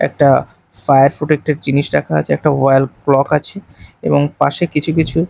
একটা fire protected একটা জিনিস রাখা আছে একটা ওয়াল ক্লক আছে এবং পাশে কিছু কিছু--